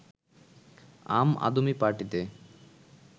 আম আদমি পার্টিতে